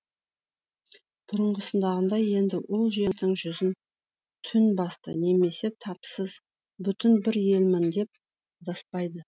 бұрынғысындағыдай енді ол жердің жүзін түн басты немесе тапсыз бүтін бір елмін деп адаспайды